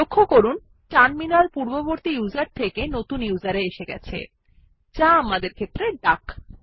লক্ষ্য করুন টার্মিনাল পূর্ববর্তী ইউজার থেকে নতুন ইউজার এ এসেছে যা আমাদের ক্ষেত্রে ডাক